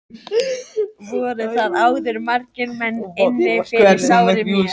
Voru þar áður margir menn inni fyrir sárir mjög.